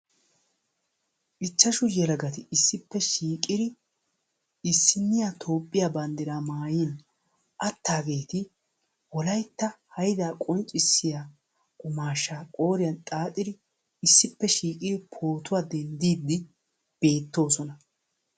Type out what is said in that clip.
Ichashshu yelagati issippe shiiqid issiniya Toophiyaa banddiraa mayyin attageeti Wolaytta haydda qonccissiya qummashsha qoorin xaaxidi issippe shiiqid pootuwaa denddidi beetttoosona.